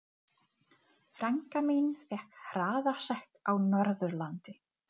Hvar er taskan þín. Hún er á borðinu